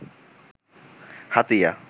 Hatiya